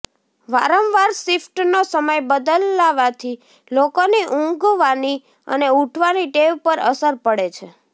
વારંવાર શિફ્ટનો સમય બદલાવાથી લોકોની ઊંઘવાની અને ઊઠવાની ટેવ પર અસર પડે છે